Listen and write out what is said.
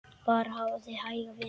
Bara hafa þig hæga, vina.